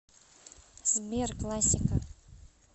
сбер классика